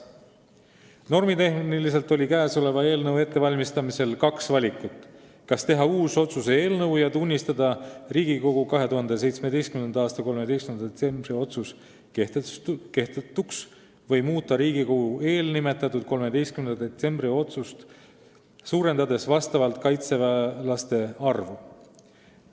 Normitehniliselt oli eelnõu ettevalmistamisel kaks valikut: kas teha uus otsuse eelnõu ja tunnistada Riigikogu 2017. aasta 13. detsembri otsus kehtetuks või muuta Riigikogu eelnimetatud, 13. detsembri otsust, suurendades vastavalt kaitseväelaste arvu.